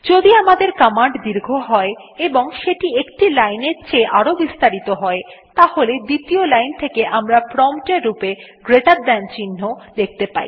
যদি আমাদের কমান্ড দীর্ঘ হয় এবং সেটি একটি লাইনের চেয়ে আরও বেশি বিস্তারিত হয় তাহলে দ্বিতীয় লাইন থেকে আমরা প্রম্পট এর রূপে গ্রেটের থান চিহ্ন জিটি দেখতে পাই